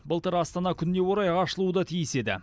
былтыр астана күніне орай ашылуы да тиіс еді